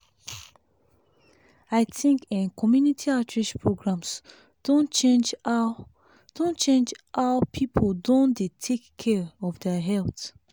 i think eh community outreach programs don change how don change how people don dey take care of their health